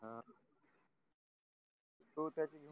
हा तो त्याचीच